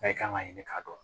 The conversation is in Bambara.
Bɛɛ kan ka ɲini k'a dɔn